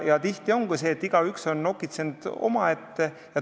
Tihti ongi nii, et igaüks on nokitsenud omaette.